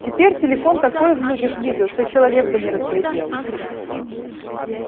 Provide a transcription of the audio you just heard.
теперь телефон такое в людях видел что человек бы не разглядел